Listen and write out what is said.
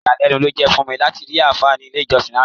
Ìyàlẹ́nu ló jẹ́ láti rí àáfà ní ilé-ìjọ́sìn lánàá.